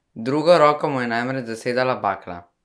Drugo roko mu je namreč zasedala bakla.